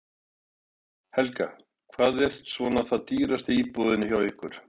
Helga: Hvað er svona það dýrasta í búðinni hjá ykkur?